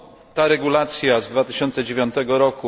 Ta regulacja z 2009 r.,